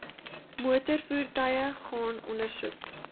motorvoertuie gaan ondersoek